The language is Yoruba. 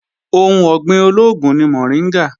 Ohun ọ̀gbìn olóògùn ni mọ̀ríngà